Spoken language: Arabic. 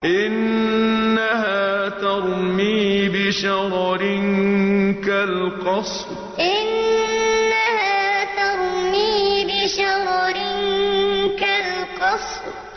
إِنَّهَا تَرْمِي بِشَرَرٍ كَالْقَصْرِ إِنَّهَا تَرْمِي بِشَرَرٍ كَالْقَصْرِ